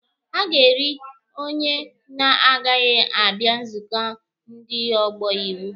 A ga-eri onye na-agaghị abịa nzukọ ndị ọgbọ iwu.